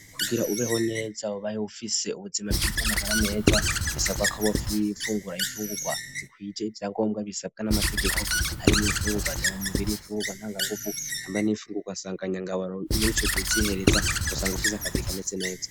Kugira ubeho neza ubaye ufise ubuzima bwize magara meza bisabwako uba ufungura ifungurwa zikwije ivyangombwa bisabwa n'amategeko hari mu ifungurwa ndema mubiri ,ifungurwa ntanganguvu Hamwe n'ifungurwa sanganyangaburo muri co gihe uzosanga ufise akabiri kameze neza.